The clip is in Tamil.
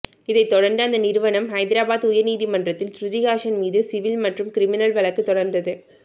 இதை தொடர்ந்து அந்த நிறுவனம் ஹைதராபாத் உயர் நீதிமன்றத்தில் சுருதிஹாசன் மீது சிவில் மற்றும் கிரிமினல் வழக்குத் தொடர்ந்தது